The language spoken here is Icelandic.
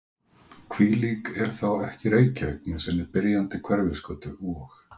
Hvílík er þá ekki Reykjavík með sinni byrjandi Hverfisgötu og